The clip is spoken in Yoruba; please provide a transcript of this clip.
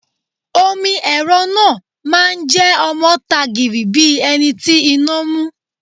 Omi ẹ̀rọ náà máa jẹ́ ọmọ ta gìrì bíi ẹni tí iná mú.